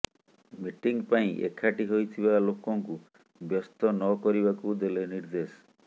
meeting ପାଇଁ ଏକାଠି ହୋଇଥିବା ଲୋକଙ୍କୁ ବ୍ୟସ୍ତ ନକରିବାକୁ ଦେଲେ ନିର୍ଦ୍ଦେଶ